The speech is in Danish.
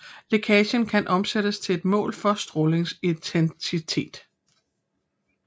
Lækagen kan omsættes til et mål for strålingsintensiteten